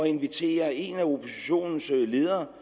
invitere en af oppositionens ledere